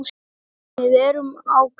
Við erum á kafi.